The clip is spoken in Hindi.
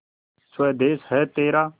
स्वदेस है तेरा